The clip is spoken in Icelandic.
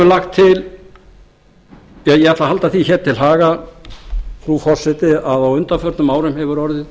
uppeldisstöðvum ég ætla að halda því hér til haga frú forseti að á undanförnum árum hefur orðið